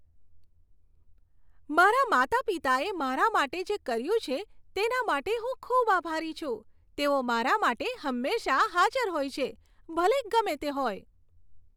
મારા માતા પિતાએ મારા માટે જે કર્યું છે તેના માટે હું ખૂબ આભારી છું. તેઓ મારા માટે હંમેશાં હાજર હોય છે, ભલે ગમે તે હોય.